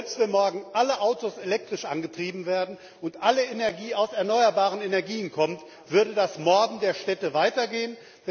Selbst wenn morgen alle Autos elektrisch angetrieben werden und alle Energie aus erneuerbaren Energien kommt, würde das Morden der Städte weitergehen.